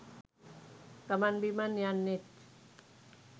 ගමන් බිමන් යන්නෙත්